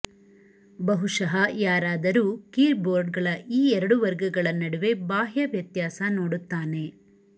ಬಹುಶಃ ಯಾರಾದರೂ ಕೀಬೋರ್ಡ್ಗಳ ಈ ಎರಡು ವರ್ಗಗಳ ನಡುವೆ ಬಾಹ್ಯ ವ್ಯತ್ಯಾಸ ನೋಡುತ್ತಾನೆ